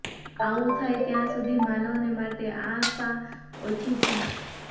આવું થાય ત્યાં સુધી માનવને માટે આશા ઓછી છે